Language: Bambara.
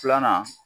Filanan